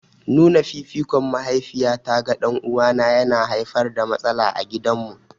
Nuna fifikon mahaifiyata ga ɗan'uwana yana haifar da matsala a gidanmu.